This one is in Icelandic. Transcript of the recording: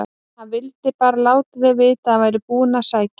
HANN VILDI BARA LÁTA ÞIG VITA AÐ ÞAÐ VÆRI BÚIÐ AÐ SÆKJA